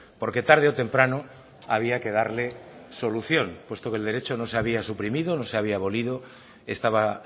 porque tarde o temprano había que darle solución puesto que el derecho no se había suprimido no se había abolido estaba